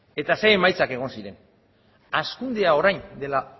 eta zer emaitzak egon ziren hazkundea orain dela